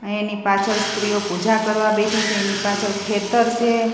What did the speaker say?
આ એની પાછડ સ્ત્રીઓ પૂજા કરવા બેઠી છે એની પાછડ ખેતર છે.